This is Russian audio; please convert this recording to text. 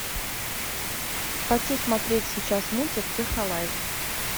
хочу смотреть сейчас мультик технолайз